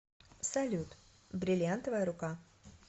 салют бриллинтовая рука